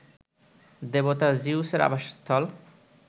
দেবতা জিউসের আবাসস্থল